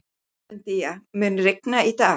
Guðmundína, mun rigna í dag?